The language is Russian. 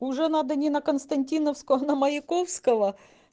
уже надо ни на константиновскую а на маяковского